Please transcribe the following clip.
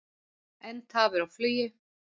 Enn tafir á flugi